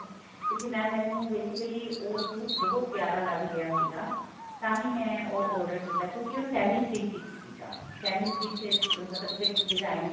ਕਿਉਂਕਿ mam ਮੈਨੂੰ basically ਉਹ suit ਬਹੁਤ ਪਿਆਰਾ ਲੱਗ ਰਿਹਾ ਸੀਗਾ ਤਾਹੀ ਮੈਂ ਉਹ order ਕੀਤਾ ਕਿਉਂਕਿ ਉਹ semi stich ਸੀਗਾ semi stich ਮਤਲਬ ਉਸਤੇ designing